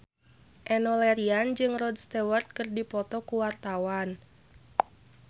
Enno Lerian jeung Rod Stewart keur dipoto ku wartawan